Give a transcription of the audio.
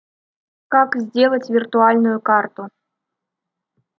как сделать виртуальную карту